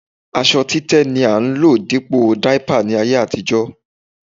Aṣọ títẹ́ ni a ń lò dípò dáípà ní ayé àtijó